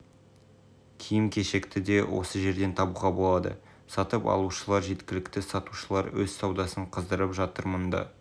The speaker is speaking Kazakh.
киім-кешекті де осы жерден табуға болады сатып алушылар жеткілікті сатушылар өз саудасын қыздырып жатыр мұнда